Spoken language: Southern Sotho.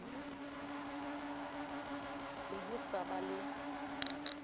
be ho sa ba le